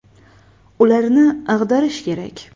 Ularni ag‘darish kerak.